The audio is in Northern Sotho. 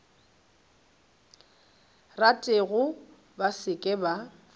ratego ba se ke ba